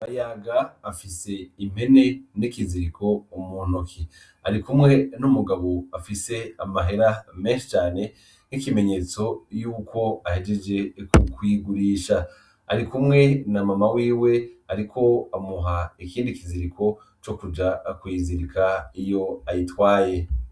Bayaga afise impene n'ikiziriko muntoke, arikumwe n'umugabo afise amahera menshi cane nk'ikimenyetso ko ahejeje kuyigurisha, arikumwe na Mama wiwe ariko amuha ikindi kiziriko cokuja kuyizirika iyo ayitwaye.